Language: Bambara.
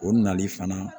O nali fana